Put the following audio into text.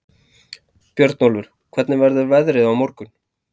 Björnólfur, hvernig verður veðrið á morgun?